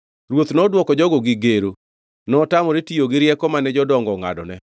Ruoth nodwoko jogo gi gero. Notamore tiyo gi rieko mane jodongo ongʼadone,